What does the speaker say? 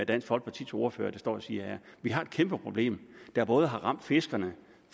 dansk folkepartis ordfører står og siger her vi har et kæmpe problem der både har ramt fiskerne